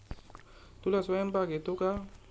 तुला स्वयंपाक येतो का?